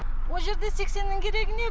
о жерде сексеннің керегі не